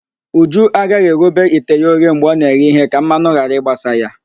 Uju agaghị eghobe ite ya oghe mgbe ọ na-eghe ihe ka mmanụ ghara ịgbasa ya